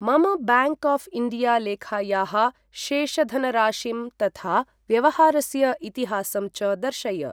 मम bank of India लेखायाः शेषधनराशिं तथा व्यवहारस्य इतिहासं च दर्शय।